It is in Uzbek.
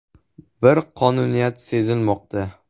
Bir qonuniyat sezilmoqda.